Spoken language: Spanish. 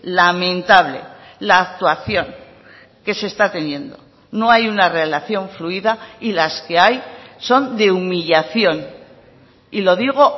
lamentable la actuación que se está teniendo no hay una relación fluida y las que hay son de humillación y lo digo